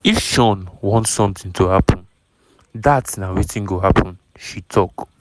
"if sean want something to happen dat na wetin go happen" she tok.